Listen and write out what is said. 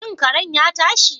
Shin karen ya tashi?